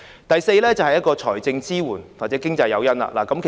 第四，政府應提供財政支援或經濟誘因。